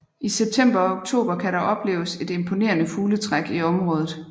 I september og oktober kan der opleves et imponerende fugletræk i området